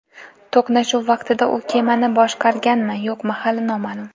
To‘qnashuv vaqtida u kemani boshqarganmi, yo‘qmi hali noma’lum.